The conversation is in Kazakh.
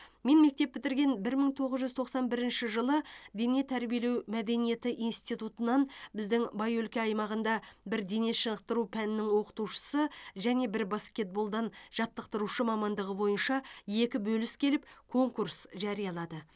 мен мектеп бітірген бір мың тоғыз жүз тоқсан бірінші жылы дене тәрбиелеу мәдениеті институтынан біздің бай өлке аймағында бір денешынықтыру пәнінің оқытушысы және бір баскетболдан жаттықтырушы мамандығы бойынша екі бөліс келіп конкурс жариялады